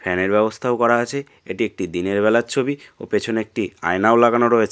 Fan এর ব্যবস্থাও করা আছে এটি একটি দিনের বেলার ছবি ও পেছনে একটি আয়না ও লাগানো রয়ে--।